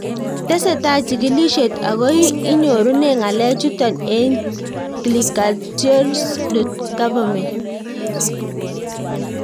Tesetai chig'ilishet ako inyurune ng'alek chutok eng' clicaltrials.gov.